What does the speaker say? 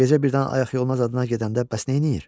Gecə birdən ayaq yoluna zadına gedəndə bəs neyləyir?